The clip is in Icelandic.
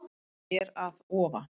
Hér að ofa